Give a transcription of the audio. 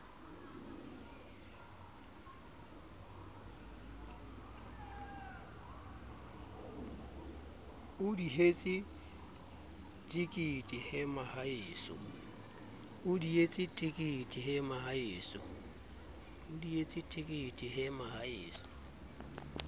o dihetse tekete he mohaeso